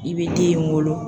I be den in wolo.